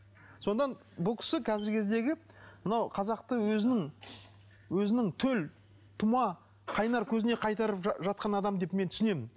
содан бұл кісі қазіргі кездегі мынау қазақты өзінің өзінің төл тума қайнар көзіне қайтырып жатқан адам деп мен түсінемін